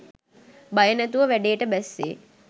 බය නැතුව වැඩේට බැස්සේ